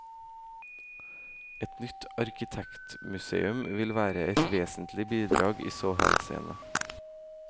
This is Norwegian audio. Et nytt arkitekturmuseum ville være et vesentlig bidrag i så henseende.